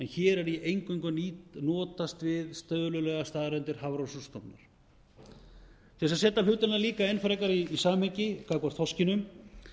en hér er ég eingöngu að notast við tölulegar staðreyndir hafrannsóknastofnunar til þess að setja hlutina líka enn frekar í samhengi gagnvart þorskinum